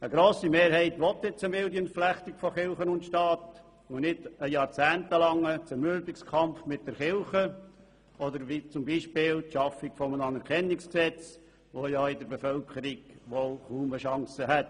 Eine grosse Mehrheit will nun eine milde Entflechtung von Kirche und Staat, und nicht einen jahrzehntelangen Zermürbungskampf mit der Kirche oder die Schaffung eines Anerkennungsgesetzes, welches in der Bevölkerung wohl kaum eine Chance hätte.